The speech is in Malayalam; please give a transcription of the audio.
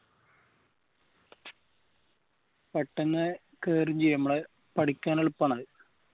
പെട്ടെന്ന് കേറുചെയ്യും നമ്മളെ പഠിക്കാൻ എളുപ്പണ്